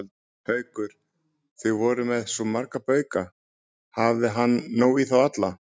Haukur: Þið voruð með svo marga bauka, hafði hann nóg í þá alla?